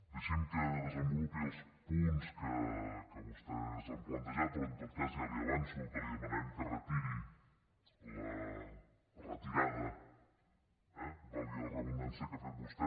deixin me que desenvolupi els punts que vostès han plantejat però en tot cas ja li avanço que li demanarem que retiri la retirada eh valgui la redundància que ha fet vostè